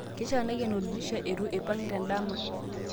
keifaa naiken oldirisha eiru aipung tenadama